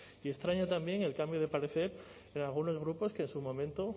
y extraña también el cambio de parecer de algunos grupos que en su momento